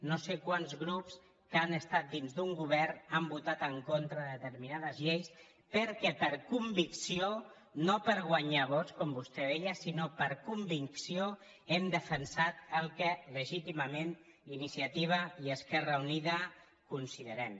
no sé quants grups que han estat dins d’un govern han votat en contra de determinades lleis perquè per convicció no per guanyar vots com vostè deia sinó per convicció hem defensat el que legítimament iniciativa i esquerra unida considerem